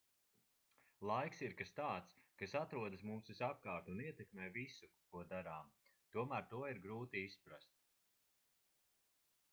laiks ir kas tāds kas atrodas mums visapkārt un ietekmē visu ko darām tomēr to ir grūti izprast